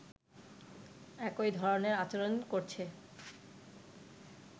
একই ধরনের আচরণ করছে